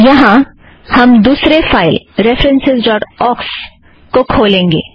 यहाँ हम references dot ox file को खोलेंगे